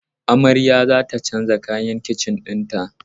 Amarya za ta canza kayan kicin ɗinta.